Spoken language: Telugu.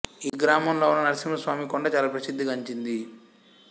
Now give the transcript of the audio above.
ఈ గ్రామంలో ఉన్న నరసింహ స్వామి కొండ చాలప్రసిద్ధి గంచినిది